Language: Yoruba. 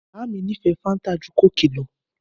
Bàámi nifẹ fàńtà jú kókì lò.